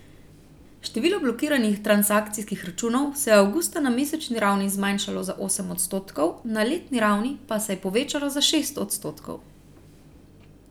Število blokiranih transakcijskih računov se je avgusta na mesečni ravni zmanjšalo za osem odstotkov, na letni ravni pa se je povečalo za šest odstotkov.